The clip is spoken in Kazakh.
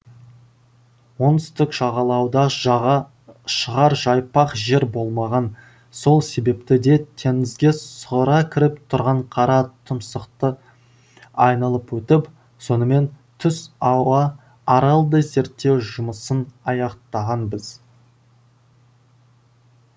оңтүстік жағалауда жаға шығар жайпақ жер болмаған сол себепті де теңізге сұғыра кіріп тұрған қара тұмсықты айналып өтіп сонымен түс ауа аралды зерттеу жұмысын аяқтағанбыз